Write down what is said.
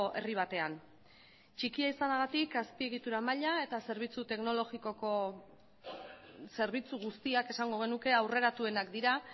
herri batean txikia izanagatik azpiegitura maila eta zerbitzu teknologikoko zerbitzu guztiak esango genuke aurreratuenak dira